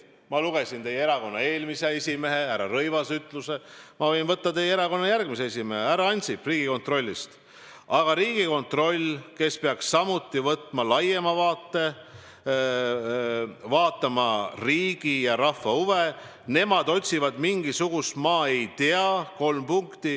Ma lugesin teie erakonna eelmise esimehe härra Rõivase ütlusi, ma võin võtta ühe teise teie erakonna esimehe, härra Ansipi sõnad Riigikontrolli kohta: "... aga Riigikontroll, kes peaks samuti võtma laiema vaate, vaatama riigi ja rahva huve, nemad otsivad mingisugust, ma ei tea ...